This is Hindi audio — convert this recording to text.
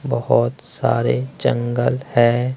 बहुत सारे जंगल हैं।